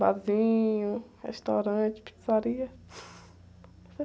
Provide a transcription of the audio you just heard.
Barzinho, restaurante, pizzaria.